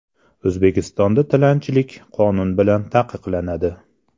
O‘zbekistonda tilanchilik qonun bilan taqiqlanadi.